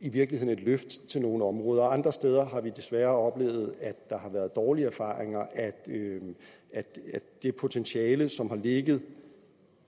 i virkeligheden et løft til nogle områder andre steder har vi desværre oplevet at der har været dårlige erfaringer med at det potentiale som har ligget